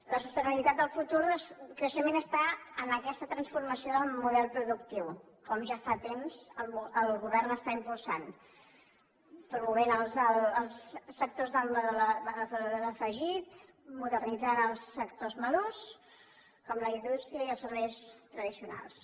la sostenibilitat del futur creixement està en aquesta transformació del model productiu que ja fa temps que el govern està impulsant promovent els sectors d’alt valor afegit modernitzant els sectors madurs com la indústria i els serveis tradicionals